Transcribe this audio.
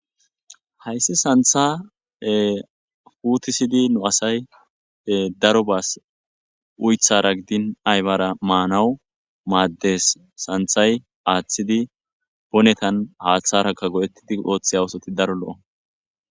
Hayissi Santa putisidi nu asayi darobas oyitara gidin ayibara manawu mades santayi atidi bonetan hatharaka go,etidi otiya osoti daro lo,o